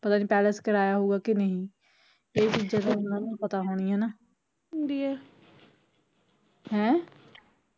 ਪਤਾ ਨੀ palace ਕਰਾਇਆ ਹੋਊਗਾ ਕਿ ਨਹੀਂ ਏਹ ਚੀਜ਼ਾ ਤਾਂ ਓਹਨਾਂ ਨੂੰ ਪਤਾ ਹੋਣੀਆ ਨਾ ਹੈਂ